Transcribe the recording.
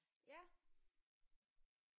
Ja